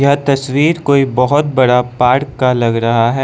यह तस्वीर कोई बहोत बड़ा पार्क का लग रहा है।